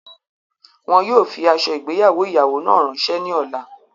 Wọn yóò fi ạso igbeyawo iyawo náà ranṣe ni ọla